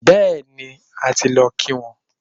Bẹẹni, a ti lọ kí wọ́n